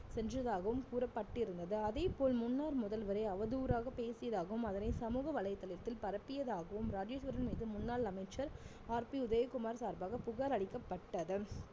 சென்றதாகவும் கூறப்பட்டிருந்தது அதேபோல் முன்னாள் முதல்வரை அவதூறாக பேசியதாகவும் அதனை சமூக வலைத்தளத்தில் பரப்பியதாகவும் ராஜேஸ்வரன் மீது முன்னாள் அமைச்சர் RB உதயகுமார் சார்பாக புகார் அளிக்கப்பட்டது